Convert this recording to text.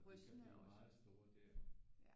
De kan blive meget store der